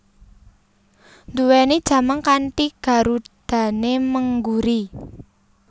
Nduwèni jamang kanthi garudané mengguri